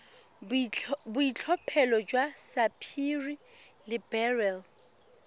boitlhophelo jwa sapphire le beryl